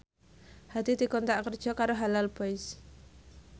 Hadi dikontrak kerja karo Halal Boys